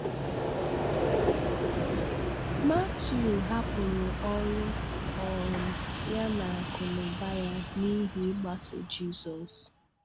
Matiu hapụrụ ọrụ um ya na akụ́nụ́bà ya n’ihi ịgbàso Jizọs.